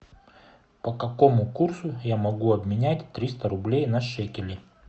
по какому курсу я могу обменять триста рублей на шекели